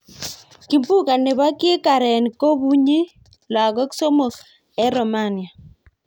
Kimbunga nebo kikaren kobunyi lagok somok en Romania.